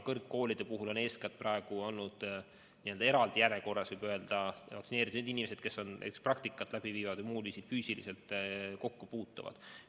Kõrgkoolide puhul on olnud n-ö eraldi järjekorras ja võib öelda, et vaktsineeritud inimesed, kes praktikat läbi viivad või muul viisil füüsiliselt kokku puutuvad.